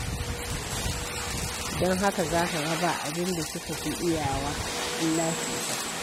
Don haka za ka ga ba abin da suka fi iyawa illa cuta.